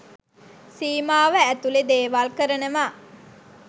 සීමාව ඇතුළෙ දේවල් කරනවා.